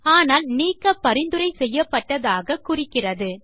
ஆனால் நீக்க பரிந்துரை செய்யப்பட்டதாக குறிக்கிறது